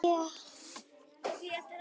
nánar er fjallað um tengsl fasaskipta vatns